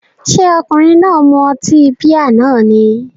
Ṣé ọkùnrin náà mu ọtí bíà náà ni?